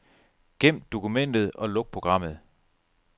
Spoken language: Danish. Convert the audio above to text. Gem dokumentet og luk programmet.